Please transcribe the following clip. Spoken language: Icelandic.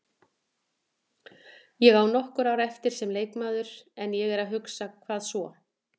Ég á nokkur ár eftir sem leikmaður en ég er að hugsa, hvað svo?